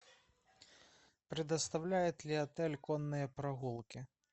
предоставляет ли отель конные прогулки